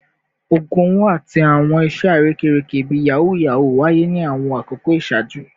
Ogun owo ati awọn iṣe arekereke bii yahoo yahoo waye ni awọn akoko iṣaaju